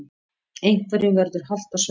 Einhverjum verður halt á svellinu